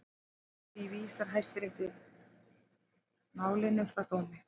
Því vísar Hæstiréttur málinu frá dómi